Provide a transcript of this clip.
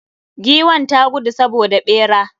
Giwn ta gudu saboda ɓera.